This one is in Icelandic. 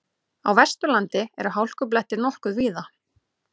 Á Vesturlandi eru hálkublettir nokkuð víða